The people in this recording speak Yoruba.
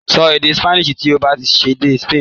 Sọ èdè Spanish tí ó bá dé Spain!